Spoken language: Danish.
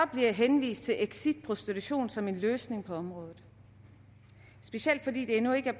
bliver henvist til exit prostitution som en løsning på området specielt fordi der endnu ikke er